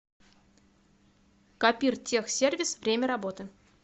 копиртехсервис время работы